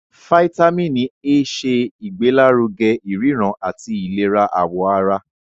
Fítámìnì A ṣe ìgbélárugẹ ìríran àti ìlera àwọ̀ ara.